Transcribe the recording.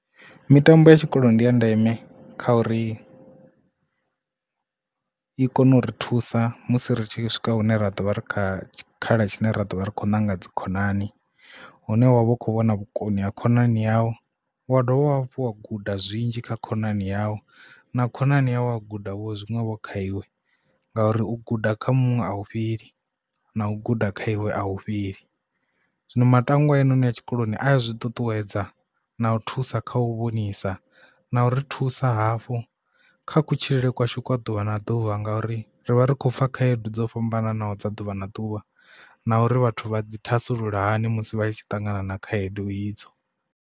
Mitambo ya tshikolo ndi ya ndeme kha uri i kone u ri thusa musi ri tshi swika hune ra ḓovha ri kha tshikhala tshine ra ḓovha ri kho ṋanga dzikhonani, hune wavha u kho vhona vhukoni ha khonani yau wa dovha hafhu wa guda zwinzhi kha khonani yau na khonani ya wa guda vho zwiṅwevho kha iwe. Ngauri u guda kha muṅwe a hu fheli na u guda kha iwe a hu fheli zwino matangwa ane a tshikoloni a zwi ṱuṱuwedza na u thusa kha u vhonisa na u ri thusa hafhu kha kutshilele kwashu a ḓuvha na ḓuvha ngauri ri vha ri khou pfa khaedu dzo fhambananaho dza ḓuvha na ḓuvha na uri vhathu vha dzi thasulula hani musi vha tshi ṱangana na khaedu idzo.